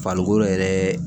Farikolo yɛrɛɛ